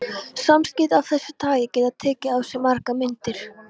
Samskipti af þessu tagi geta tekið á sig margar myndir.